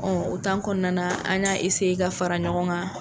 o kɔnɔna na an y'a ka fara ɲɔgɔn kan.